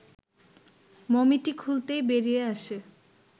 মমিটি খুলতেই বেরিয়ে আসে